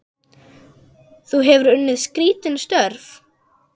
Þú hefur unnið skrítin störf?